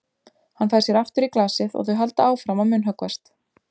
Hann fær sér aftur í glasið og þau halda áfram að munnhöggvast.